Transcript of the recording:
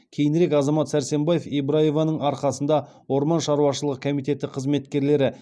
кейінірек азамат сәрсенбаев ибраеваның арқасында орман шаруашылығы комитеті қызметкерлері